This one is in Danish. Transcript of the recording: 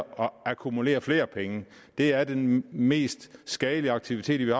akkumulere flere penge det er den mest skadelige aktivitet